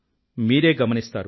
మీరే గమనిస్తారు